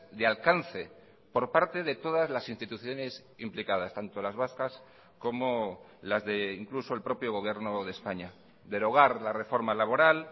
de alcance por parte de todas las instituciones implicadas tanto las vascas como las de incluso el propio gobierno de españa derogar la reforma laboral